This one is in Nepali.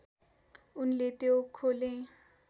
उनले त्यो खोले